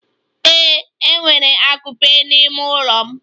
Ee, enwere akupe n'ime ụlọ m.